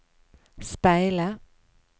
speile